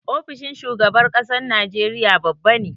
Ofishin shugaban ƙasar Nigeria babba ne.